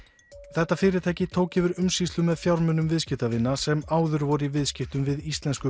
þetta fyrirtæki tók yfir umsýslu með fjármunum viðskiptavina sem áður voru í viðskiptum við íslensku